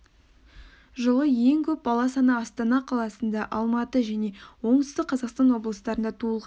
жылы ең көп бала саны астана қаласында алматы және оңтүстік қазақстан облыстарында туылған